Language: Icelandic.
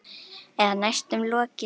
Eða næstum lokið.